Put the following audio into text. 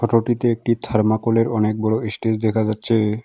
একটি থার্মোকলের অনেক বড় ইস্টেইজ দেখা যাচ্ছে।